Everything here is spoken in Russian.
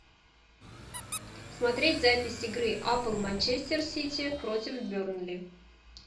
смотреть запись игры апл манчестер сити против бернли